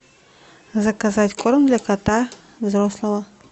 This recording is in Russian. заказать корм для кота взрослого